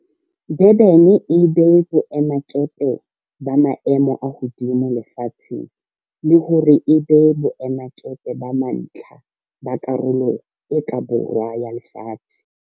Durban e be boemakepe ba maemo a hodimo lefatsheng le hore e be boemakepe ba mantlha ba Karolo e ka Borwa ya Lefatshe.